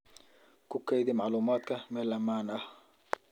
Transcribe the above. Ku kaydi macluumaadka meel ammaan ah.